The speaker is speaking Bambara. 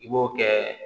I b'o kɛ